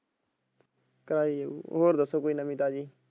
ਕਰਾਈ ਹੀ ਜਾਉ ਚਲ ਹੋਰ ਦਸੋ ਕੋਈ ਨਵੀ ਤਾਜੀ।